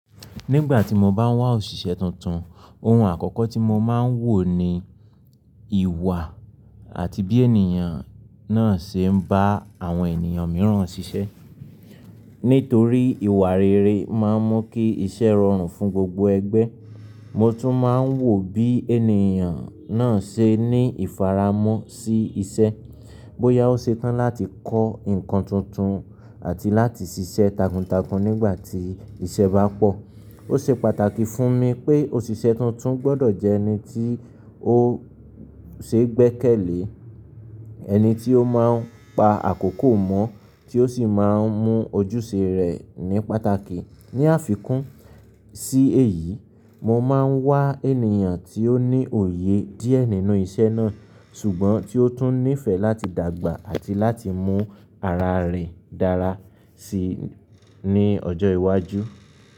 Nígbà tí mo bá ń wá òṣìṣẹ́ tuntun, ohun àkọ́kọ́ tí mo máa ń wò ni ìwà àti bí ènìyàn náà ṣe ń bá àwọn ènìyàn mìíràn ṣiṣẹ́. Nítorí ìwà rere máa ń mú kí iṣẹ́ rọrùn fún gbogbo ẹgbẹ́. Mo tún máa ń wò bí ènìyàn náà ṣe ní ìfaramọ́ sí iṣẹ́, bóyá ó ṣe tán láti kọ́ nǹkan tuntun àti láti ṣiṣẹ́ takuntakun nígbà tí iṣẹ́ bá pọ̀. Ó ṣe pàtàkì fún mi pé òṣìṣẹ́ tuntun gbọ́dọ̀ jẹ́ ẹni tí ó ṣeé gbẹ́kẹ̀lé, ẹni tí ó máa ń pa àkókò mọ́ tí ó sì máa ń mú ojúṣe rẹ̀ ní pàtàkì. Ni àfikún sí èyí, mo máa ń wá ènìyàn tí ó ní òye díẹ̀ nínú iṣẹ́ náà ṣùgbọ́n tí ó tún nífẹ̀ẹ́ láti dàgbà àti láti mú ara rẹ̀ dára sí ní ọjọ́ iwájú.